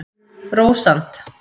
Rósant